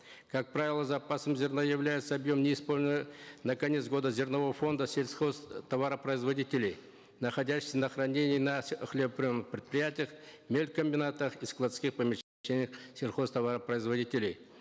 как правило запасом зерна является объем на конец года зернового фонда сельхозтоваропроизводителей находящийся на хранении на хлебоприемных предприятиях мелькомбинатах и складских сельхозтоваропроизводителей